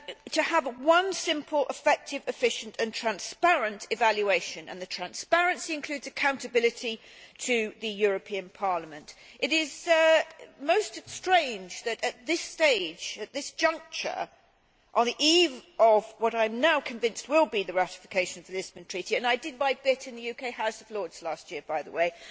to have one simple, effective, efficient and transparent evaluation and to ensure that the transparency includes accountability to the European Parliament. It is most strange that at this juncture, on the eve of what I am now convinced will be the ratification of the Lisbon Treaty and I did my bit in the UK House of Lords last year, by the way